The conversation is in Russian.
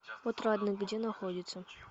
отрадный где находится